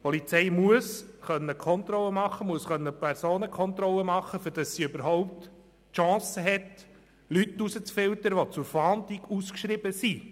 Die Polizei muss Personenkontrollen durchführen können, damit sie überhaupt die Chance hat, Leute herauszufiltern, die zur Fahndung ausgeschrieben sind.